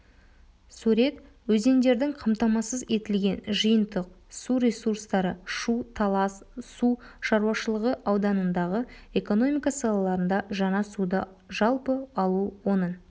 сурет өзендердің қамтамасыз етілген жиынтық су ресурстары шу-талас су шаруашылығы ауданындағы экономика салаларында жаңа суды жалпы алу оның